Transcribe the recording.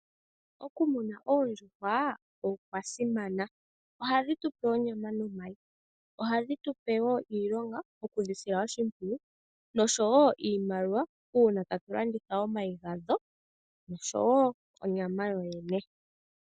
Okumuna oondjuhwa okwasimana, ohadhi tu pe onyama nomayi. Ohadhi tu pe wo iilonga yokudhisila oshimpwiyu nosho wo iimaliwa uuna ta tu landitha omayi gadho nosho wo onyama yoyene.